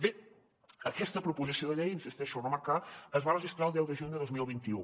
bé aquesta proposició de llei insisteixo a remarcar es va registrar el diez de juny de dos mil veinte un